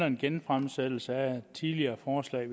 en genfremsættelse af et tidligere forslag